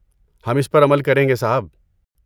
ہم اس پر عمل کریں گے، صاحب۔